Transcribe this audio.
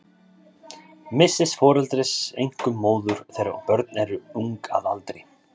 Missis foreldris, einkum móður, þegar börn eru ung að aldri.